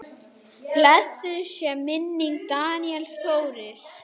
Blessuð sé minning Daníels Þóris.